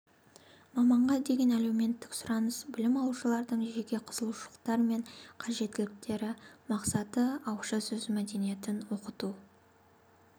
маманға деген әлеуметтік сұраныс білім алушылардың жеке қызығушылықтары мен қажеттіліктері мақсаты ауызша сөз мәдениетін оқыту